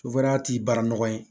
t'i bara nɔgɔ ye